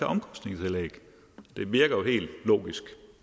omkostningstillæg det virker jo helt logisk